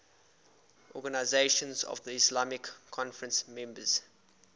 organisation of the islamic conference members